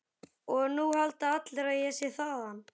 Og núna halda allir að ég sé þaðan.